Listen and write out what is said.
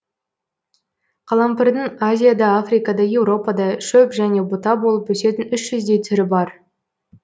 қалампырдың азияда африкада еуропада шөп және бұта болып есетін үш жүздей түрі бар